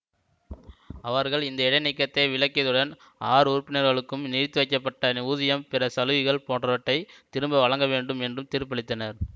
அவர்கள் இந்த இடைநீக்கத்தை விலக்கியதுடன் ஆறு உறுப்பினர்களுக்கும் நிறுத்தி வைக்கப்பட்ட ஊதியம் பிற சலுகைகள் போன்றவற்றை திரும்ப வழங்க வேண்டும் என்றும் தீர்ப்பளித்தனர்